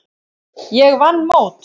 Ég vann mót.